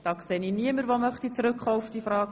– Das ist nicht der Fall.